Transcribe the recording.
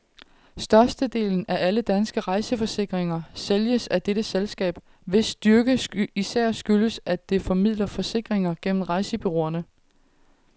Størstedelen af alle danske rejseforsikringer sælges af dette selskab, hvis styrke især skyldes, at det formidler forsikringer gennem rejsebureauerne.